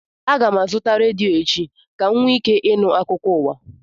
Aga m azụta redio echi ka m nwee ike ịnụ akụkọ ụwa